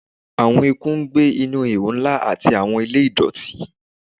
Awọn eku n gbe ni ihò nla ati awọn ile idọti